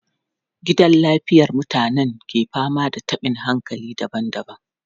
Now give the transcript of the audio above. Gidan lafiyar mutanen ke fama da tabin hankali daban-daban.